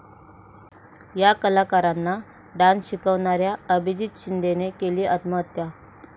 या कलाकारांना डान्स शिकवणाऱ्या अभिजीत शिंदेने केली आत्महत्या